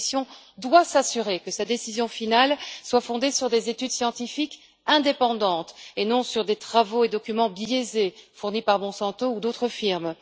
La Commission doit s'assurer que sa décision finale soit fondée sur des études scientifiques indépendantes et non sur des travaux et documents biaisés, fournis par Monsanto ou d'autres firmes.